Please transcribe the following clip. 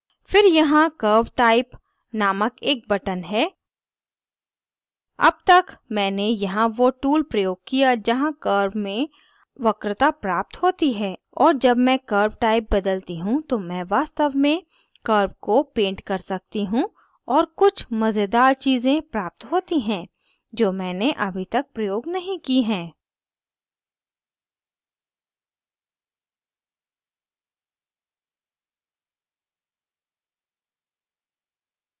फिर यहाँ curve type curve type नामक एक button है अब तक मैंने यहाँ वो tool प्रयोग किया जहाँ curve में वक्रता प्राप्त होती है और जब मैं curve type बदलती हूँ तो मैं वास्तव में curve को paint कर सकती हूँ और कुछ मज़ेदार चीज़ें प्राप्त होती है जो मैंने अभी तक प्रयोग नहीं की हैं